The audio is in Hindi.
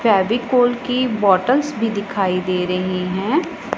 फेविकोल की बॉटल्स भी दिखाई दे रही है।